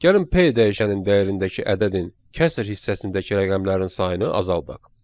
Gəlin P dəyişənin dəyərindəki ədədin kəsr hissəsindəki rəqəmlərin sayını azaldaq.